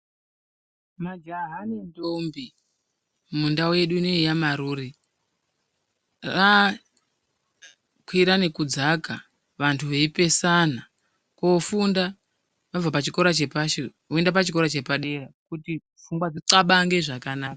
Majaha nendombi mundau yedu ineyi yamarure yava kwira nekudzaka vanhu veyipesana kundofunda wobva pachikora chepashi woenda pachikora chepadera kuti pfungwa dzithabakange zvakanaka.